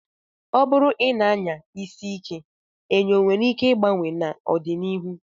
Ọ bụrụ na ị na-anya isi ike, enyo nwere ike ịgbawa n'ọdịnihu.